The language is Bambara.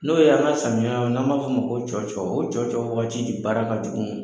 N'o y'an ka samiya n'an b'a fɔ ma ko cɔcɔ o cɔcɔ waati de baara ka jugu.